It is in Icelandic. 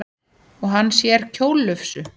Og hann sér kjóllufsu.